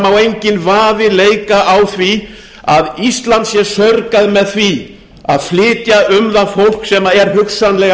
má enginn vafi leika á því að ísland sé saurgað með því að flytja um það fólk sem er hugsanlega